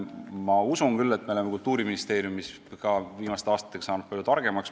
Ma usun küll, et me oleme Kultuuriministeeriumis viimaste aastatega saanud palju targemaks.